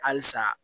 Halisa